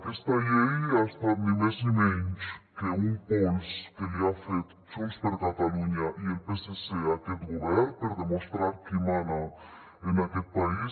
aquesta llei ha estat ni més ni menys que un pols que li han fet junts per catalunya i el psc a aquest govern per demostrar qui mana en aquest país